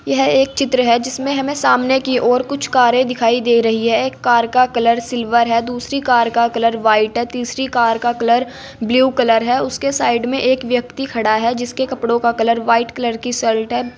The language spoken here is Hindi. यह एक चित्र है जिसमें हमें सामने की और कुछ कारे दिखाई दे रही है एक कार का कलर सिल्वर है दूसरी कार का कलर व्हाइट तीसरी कार का कलर ब्लू कलर है उसके साइड में एक व्यक्ति खड़ा है जिसके कपड़ों का कलर व्हाइट कलर की शर्ट है।